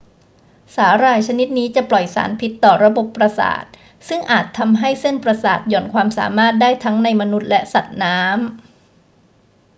สาหร่ายชนิดนี้จะปล่อยสารพิษต่อระบบประสาทซึ่งอาจทำให้เส้นประสาทหย่อนความสามารถได้ทั้งในมนุษย์และสัตว์น้ำ